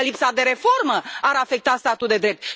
Eu zic că lipsa de reformă ar afecta statul de drept.